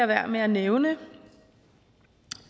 være med at nævne